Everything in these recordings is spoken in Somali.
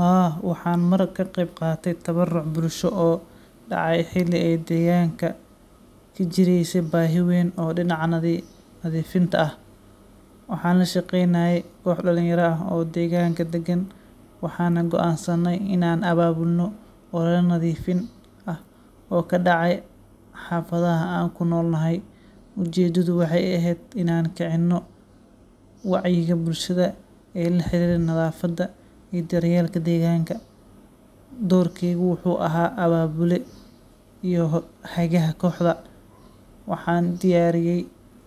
Haa, waxaan mar ka qayb qaatay tabaruc bulsho oo dhacay xilli ay deegaanka ka jiraysay baahi weyn oo dhinaca nadiifinta ah. Waxaan la shaqeynayay koox dhalinyaro ah oo deegaanka degan, waxaana go’aansanay in aan abaabulno olole nadiifin ah oo ka dhacay xaafadaha aan ku noolnahay. Ujeedadu waxay ahayd in aan kicino wacyiga bulshada ee la xiriira nadaafadda iyo daryeelka deegaanka. Doorkaygu wuxuu ahaa abaabule iyo hagaha kooxda. Waxaan diyaariyay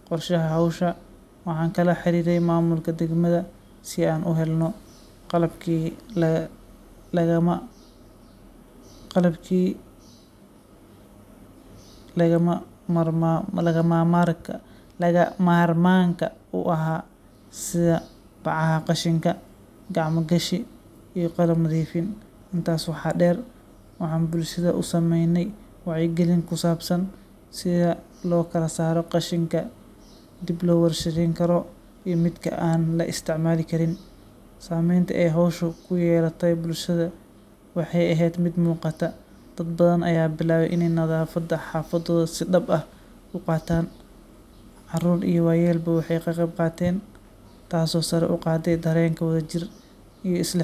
qorshaha hawsha, waxaan kala xiriiray maamulka degmada si aan u helno qalabkii lagama maarmaanka u ahaa, sida bacaha qashinka, gacmo-gashi, iyo qalab nadiifin. Intaas waxaa dheer, waxaan bulshada u samaynay wacyigelin ku saabsan sida loo kala saaro qashinka dib loo warshadeyn karo iyo midka aan la isticmaali karin. Saameynta ay hawshu ku yeelatay bulshada waxay ahayd mid muuqata. Dad badan ayaa bilaabay in ay nadaafadda xaafadooda si dhab ah u qaataan. Carruur iyo waayeelba way ka qayb qaateen, taasoo sare u qaaday dareenka wadajirka iyo